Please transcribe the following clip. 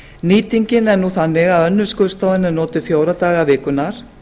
nýtingin er nú þannig að önnur skurðstofan er notuð fjóra daga vikunnar